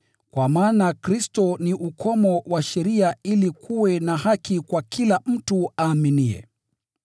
Kwa maana Kristo ni ukomo wa sheria ili kuwe na haki kwa kila mtu aaminiye.